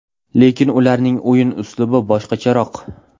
Lekin ularning o‘yin uslubi boshqacharoq.